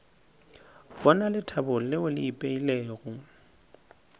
bona lethabo leo le ipeilego